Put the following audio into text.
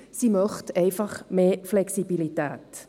Sie möchte einfach mehr Flexibilität.